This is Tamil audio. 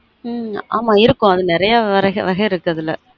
உம் ஆமா இருக்கும் அது நெறய வரஹ வகை இருக்கு அதுல